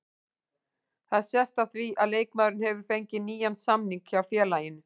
Það sést á því að leikmaðurinn hefur fengið nýjan samning hjá félaginu.